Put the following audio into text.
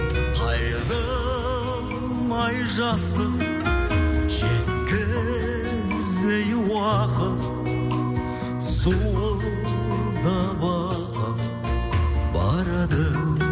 қайырылмай жастық жеткізбей уақыт зуылдап ағып барады